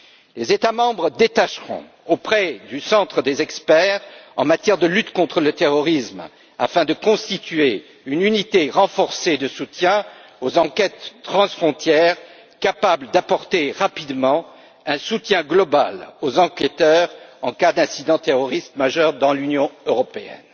Les États membres détacheront, auprès du centre, des experts en matière de lutte contre le terrorisme afin de constituer une unité renforcée de soutien aux enquêtes transfrontières capable d'apporter rapidement un soutien global aux enquêteurs, en cas d'incident terroriste majeur dans l'Union européenne.